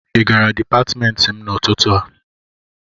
ị gara Dipatmentị m n'ụtụtụ a?